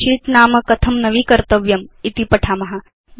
मध्ये शीट्स् इत्येषां नाम कथं नवीकर्तव्यम् इति पठाम